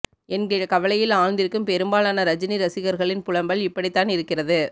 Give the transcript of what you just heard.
என்கிற கவலையில் ஆழ்ந்திருக்கும் பெரும்பாலான ரஜினி ரசிகர்களின் புலம்பல் இப்படித்தான் இருக்கிறது